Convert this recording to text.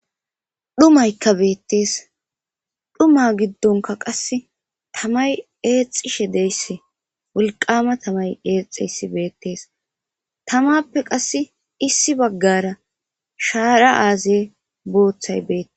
dhumaykka beettees dhuma giddonka qasse tamay eexxishe deyssi wulqama tamay eexeyssi beettees tamappe qasse issi baggara shaara aaze booththay beette